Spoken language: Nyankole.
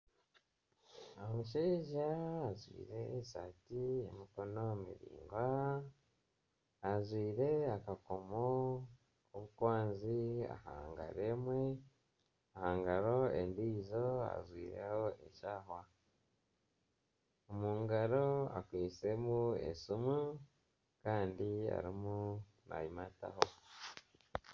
Omushaija ajwaire esaati y'emikono miraingwa ajwaire akakomo obukwanzi aha ngaro emwe ahangaro endiijo ajwaire eshaaha omu ngaro akwatsiremu esimu kandi arimu nagimata.